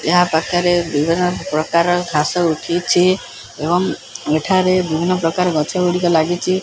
ଏହା ପାଖରେ ବିଭିନ୍ନ ପ୍ରକାର ଘାସ ଉଠିଛି ଏବଂ ଏଠାରେ ବିଭିନ୍ନ ପ୍ରକାର ଗଛ ଗୁଡ଼ିକ ଲାଗିଛି।